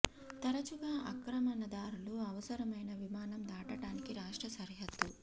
తరచుగా ఆక్రమణదారులు అవసరమైన విమానం దాటటానికి రాష్ట్ర సరిహద్దు